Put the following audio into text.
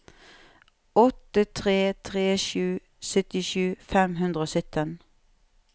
åtte tre tre sju syttisju fem hundre og sytten